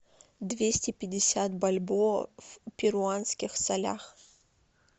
двести пятьдесят бальбоа в перуанских солях